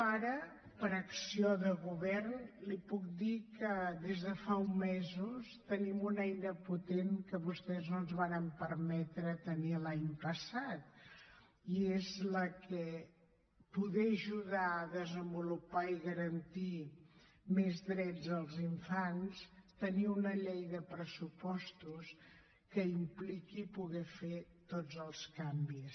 ara per acció de govern li puc dir que des de fa uns mesos tenim una eina potent que vostès no ens varen permetre tenir l’any passat i és la que permet ajudar a desenvolupar i garantir més drets als infants tenir una llei de pressupostos que impliqui poder fer tots els canvis